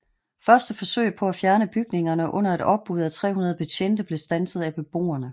Første forsøg på at fjerne bygningerne under et opbud af 300 betjente blev standset af beboerne